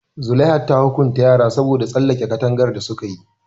Zulaiha ta hukunta yaran saboda tsallake katangar da su kayi.